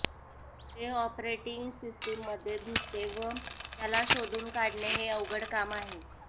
ते ऑपरेटिंग सिस्टीममध्ये घुसते व त्याला शेाधून काढणे हे अवघड काम आहे